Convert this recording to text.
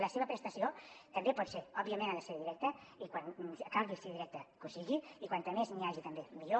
la seva prestació també pot ser òbviament ha de ser directa i quan calgui ser directa que ho sigui i com més n’hi hagi també millor